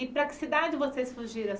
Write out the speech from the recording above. E para que cidade vocês fugiram?